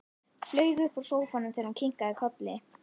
Flaug upp úr sófanum þegar hún kinkaði kolli.